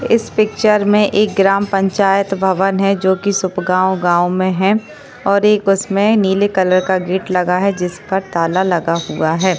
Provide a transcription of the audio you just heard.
इस पिक्चर में एक ग्राम पंचायत भवन है जोकि सूप गाँव गाँव में है और एक उसमें नीले कलर का गेट लगा है जिसका ताला लगा हुआ है।